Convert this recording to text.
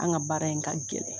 An ka baara in ka gɛlɛn.